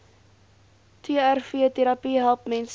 trvterapie help mense